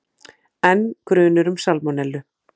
Enn grunur um salmonellu